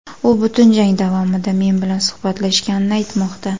U butun jang javomida men bilan suhbatlashganini aytmoqda.